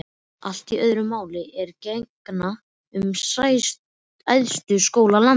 Allt öðru máli er að gegna um æðstu skóla landsins.